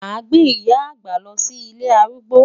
Màá gbé ìyá àgbà lọ sí ilé arúgbó.